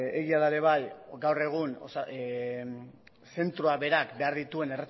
egia da ere bai gaur egun zentroa berak behar dituen